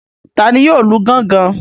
Tani yóò lu gángan?